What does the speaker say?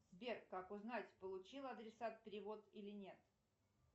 сбер как узнать получил адресат перевод или нет